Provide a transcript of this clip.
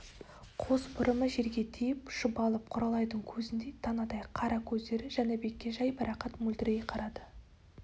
қос бұрымы жерге тиіп шұбалып құралайдың көзіндей танадай қара көздері жәнібекке жайбарақат мөлдірей қарады